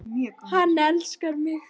Hann elskar mig